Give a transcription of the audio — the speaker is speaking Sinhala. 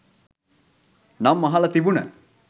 නම් අහල තිබුන